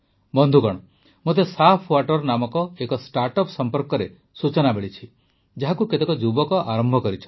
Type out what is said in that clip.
ବନ୍ଧୁଗଣ ମୋତେ ସାଫ୍ୱାଟର୍ ନାମକ ଏକ ଷ୍ଟାର୍ଟଅପ୍ ସମ୍ପର୍କରେ ସୂଚନା ମିଳିଛି ଯାହାକୁ କେତେକ ଯୁବକ ଆରମ୍ଭ କରିଛନ୍ତି